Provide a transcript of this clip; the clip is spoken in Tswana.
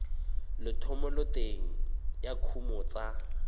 le thomeloteng ya dikuno tsa